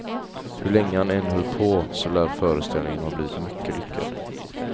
Hur länge han än höll på så lär föreställningen ha blivit mycket lyckad.